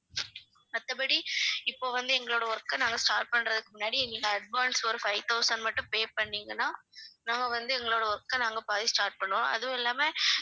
மத்தபடி இப்ப வந்து எங்களுடைய work அ நாங்க start பண்றதுக்கு முன்னாடி எங்களுக்கு advance ஒரு five thousand மட்டும் pay பண்ணீங்கன்னா நான் வந்து எங்களுடைய work ஆ நாங்க போயி start பண்ணுவோம் அதுவும் இல்லாம